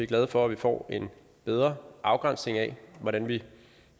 glade for at vi får en bedre afgrænsning af hvordan vi